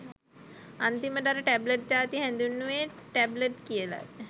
අන්තිමට අර ටැබ්ලට් ජාතිය හැදින්වුවෙ ටැබ්ලට් කියල.